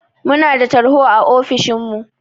Munada tarho a ofishin mu